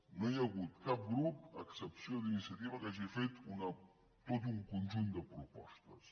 no hi ha hagut cap grup a excepció d’iniciativa que hagi fet tot un conjunt de propostes